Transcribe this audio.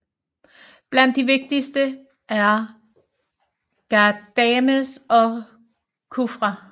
Blandt de vigtigste er Ghadames og Kufra